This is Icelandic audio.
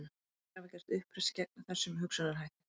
Ýmsir hafa gert uppreisn gegn þessum hugsunarhætti.